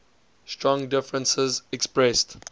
strong differences expressed